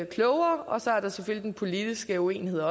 klogere og så er der selvfølgelig den politiske uenighed